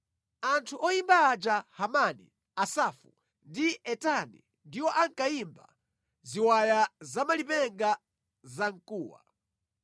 Anthu oyimba aja Hemani, Asafu ndi Etani ndiwo ankayimba ziwaya za malipenga zamkuwa;